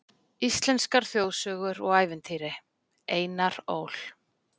Íslenskar þjóðsögur og ævintýri, Einar Ól.